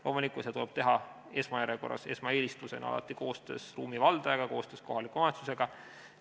Loomulikult, seda tuleb teha esmaeelistusena alati koostöös ruumi valdajaga, koostöös kohaliku omavalitsusega.